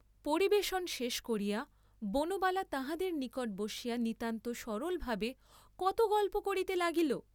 পরিবেশন শেষ করিয়া বনবালা তাঁহাদের নিকট বসিয়া নিতান্ত সরলভাবে কত গল্প করিতে লাগিল।